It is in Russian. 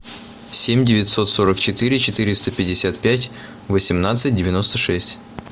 семь девятьсот сорок четыре четыреста пятьдесят пять восемнадцать девяносто шесть